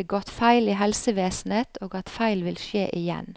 begått feil i helsevesenet, og at feil vil skje igjen.